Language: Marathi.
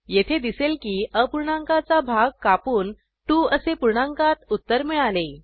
येथे दिसेल की अपूर्णांकाचा भाग कापून 2 असे पूर्णांकात उत्तर मिळाले